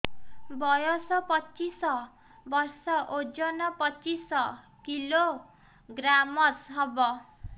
ବୟସ ପଚିଶ ବର୍ଷ ଓଜନ ପଚିଶ କିଲୋଗ୍ରାମସ ହବ